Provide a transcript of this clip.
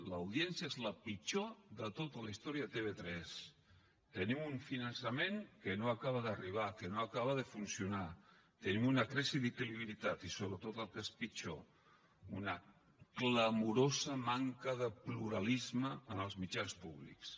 l’audiència és la pitjor de tota la història de tv3 tenim un finançament que no acaba d’arribar que no acaba de funcionar tenim una crisi de credibilitat i sobretot el que és pitjor una clamorosa manca de pluralisme en els mitjans públics